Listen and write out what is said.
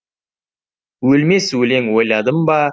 өлмес өлең ойладым ба